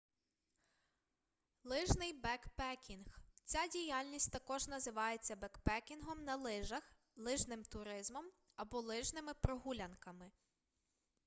лижний бекпекінг ця діяльність також називається бекпекінгом на лижах лижним туризмом або лижними прогулянками